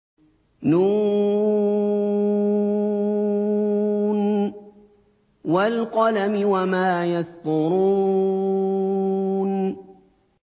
ن ۚ وَالْقَلَمِ وَمَا يَسْطُرُونَ